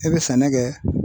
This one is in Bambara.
I bɛ sɛnɛ kɛ.